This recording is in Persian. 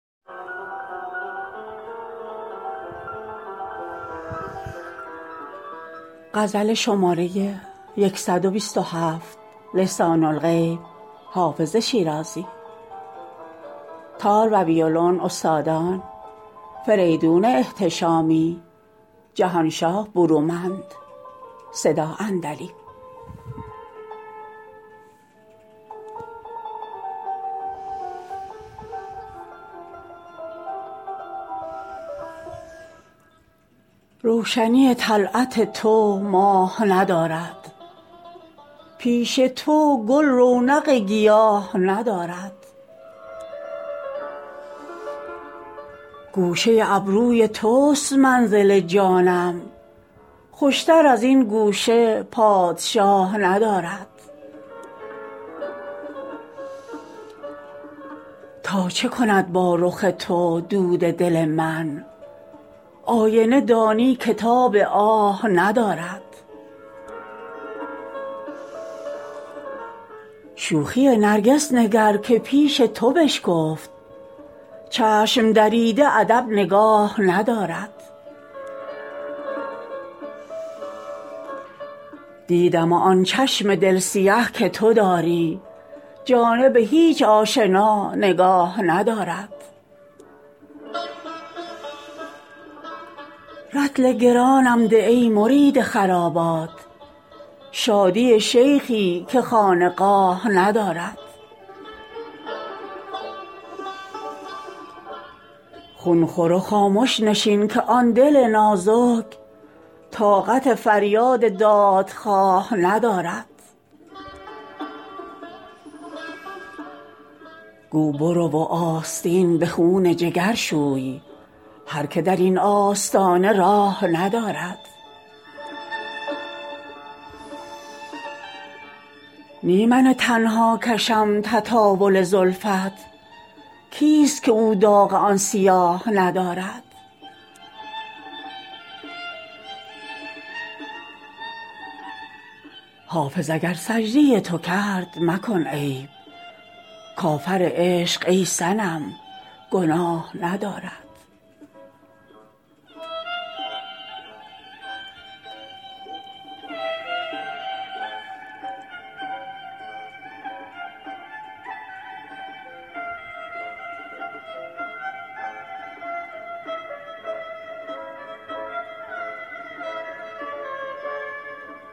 روشنی طلعت تو ماه ندارد پیش تو گل رونق گیاه ندارد گوشه ابروی توست منزل جانم خوشتر از این گوشه پادشاه ندارد تا چه کند با رخ تو دود دل من آینه دانی که تاب آه ندارد شوخی نرگس نگر که پیش تو بشکفت چشم دریده ادب نگاه ندارد دیدم و آن چشم دل سیه که تو داری جانب هیچ آشنا نگاه ندارد رطل گرانم ده ای مرید خرابات شادی شیخی که خانقاه ندارد خون خور و خامش نشین که آن دل نازک طاقت فریاد دادخواه ندارد گو برو و آستین به خون جگر شوی هر که در این آستانه راه ندارد نی من تنها کشم تطاول زلفت کیست که او داغ آن سیاه ندارد حافظ اگر سجده تو کرد مکن عیب کافر عشق ای صنم گناه ندارد